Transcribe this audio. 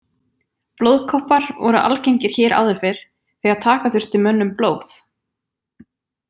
Blóðkoppar voru algengir hér áður fyrr þegar taka þurfti mönnum blóð.